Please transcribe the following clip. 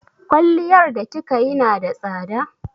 Kwalliyar da kika yi na da tsada?